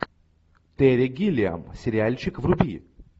терри гиллиам сериальчик вруби